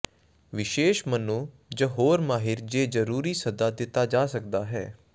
ਵਿਸ਼ੇਸ਼ ਮਨੋ ਜ ਹੋਰ ਮਾਹਿਰ ਜੇ ਜਰੂਰੀ ਸੱਦਾ ਦਿੱਤਾ ਜਾ ਸਕਦਾ ਹੈ